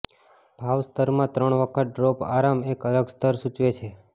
ભાવ સ્તરમાં ત્રણ વખત ડ્રોપ આરામ એક અલગ સ્તર સૂચવે છે